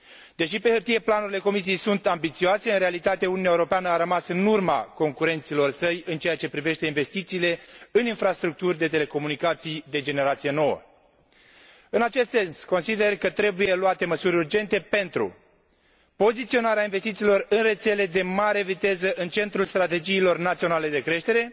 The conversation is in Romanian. Deși pe hârtie planurile Comisiei sunt ambițioase, în realitate Uniunea Europeană a rămas în urma concurenților săi în ceea ce privește investițiile în infrastructuri de telecomunicații de generație nouă. În acest sens, consider că trebuie luate măsuri urgente pentru poziționarea investițiilor în rețele de mare viteză în centrul strategiilor naționale de creștere